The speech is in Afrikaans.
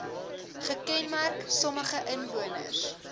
gekenmerk sommige inwoners